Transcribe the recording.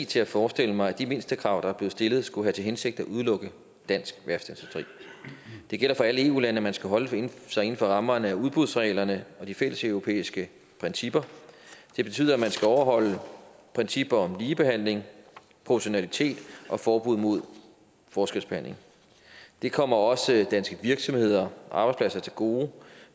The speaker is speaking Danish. til at forestille mig at de mindstekrav der er blevet stillet skulle have til hensigt at udelukke dansk værftindustri det gælder for alle eu lande at man skal holde sig inden for rammerne af udbudsreglerne og de fælleseuropæiske principper det betyder at man skal overholde principper om ligebehandling proportionalitet og forbud mod forskelsbehandling det kommer også danske virksomheder og arbejdspladser til gode